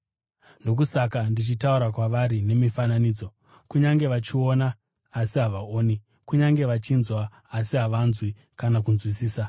Ndokusaka ndichitaura kwavari nemifananidzo: “Kunyange vachiona asi havaoni, kunyange vachinzwa asi havanzwi kana kunzwisisa.